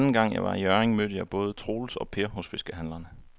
Anden gang jeg var i Hjørring, mødte jeg både Troels og Per hos fiskehandlerne.